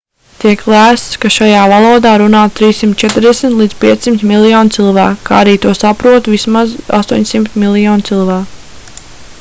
tiek lēsts ka šajā valodā runā 340-500 miljoni cilvēku kā arī to saprotu vismaz 800 miljoni cilvēku